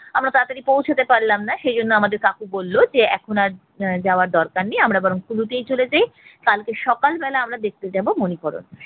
আমরা তাড়াতাড়ি পৌঁছতে পারলাম না সেই জন্য আমাদের কাকু বলল যে এখন আর আহ যাওয়ার দরকার নেই আমরা বরং কুলুতেই চলে যাই কালকে সকাল বেলায় আমরা দেখতে যাবো মানিকরণ